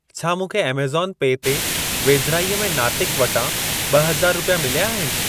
छा मूंखे ऐमज़ॉन पे ते वेझिराईअ में नातिक़ वटां ॿहज़ार रुपिया मिलिया आहिनि?